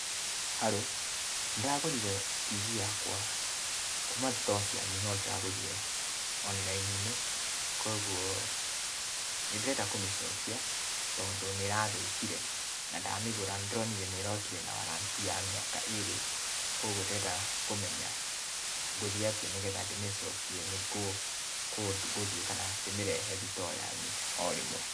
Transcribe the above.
Haro, nĩndĩragũrire TV yakwa, kuma thitoo cianyu no ndĩragũrire, oniraini-inĩ, kuoguo, nĩndĩrenda kũmĩcokia tondũ nĩrathũkire, na ndamĩgũra nĩndĩronire nĩrokĩre na warranty ya mĩaka ĩrĩ, kuoguo ndĩrenda kũmenya, ngũthiĩ atĩa nĩgetha ndĩmĩcokie, nĩ kũũ ngũthiĩ kana ndĩmĩrehe thitoo yanyu, o rĩmwe.